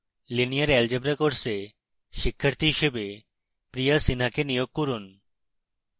linear algebra course শিক্ষার্থী হিসেবে priya sinha কে নিয়োগ করুন